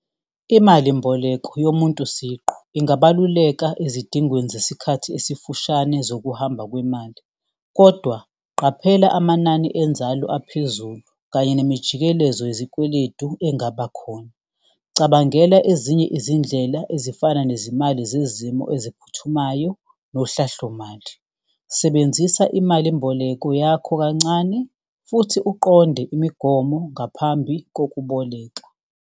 Imalimboleko yomuntu siqu ingabaluleka ezidingweni zesikhathi esifushane zokuhamba kwemali, kodwa qaphela amanani enzalo aphezulu kanye nemijikelezo yezikweledu engaba khona, cabangela ezinye izindlela ezifana nezimali zezimo eziphuthumayo, nohlahlomali. Sebenzisa imalimboleko yakho kancane futhi uqonde imigomo ngaphambi kokuboleka.